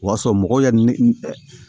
O y'a sɔrɔ mɔgɔw ye ne